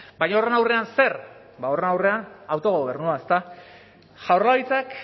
baina horren aurrean zer ba horren aurrean autogobernua ezta jaurlaritzak